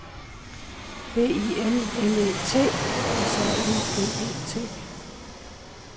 B I L L E T S A L G E T